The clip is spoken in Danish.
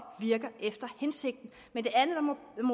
virker efter hensigten men